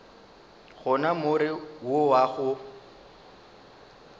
gona more wo wa go